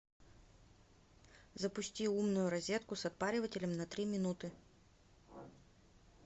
запусти умную розетку с отпаривателем на три минуты